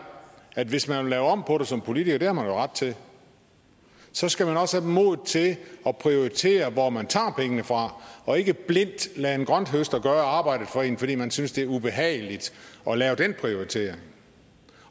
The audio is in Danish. at hvis man vil lave om på det som politiker det har man jo ret til så skal man også have modet til at prioritere hvor man tager pengene fra og ikke blindt lade en grønthøster gøre arbejdet for en fordi man synes det er ubehageligt at lave den prioritering